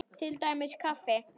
Til dæmis kaffi.